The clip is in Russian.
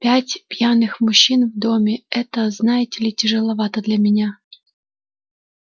пять пьяных мужчин в доме это знаете ли тяжеловато для меня